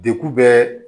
Deku bɛɛ